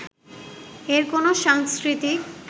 এর কোনো সাংস্কৃতিক